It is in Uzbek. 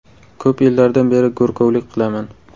Ko‘p yillardan beri go‘rkovlik qilaman.